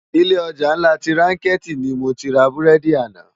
Ilé òjá nlá ti rànkèti ni mó ti rá búrèdi àná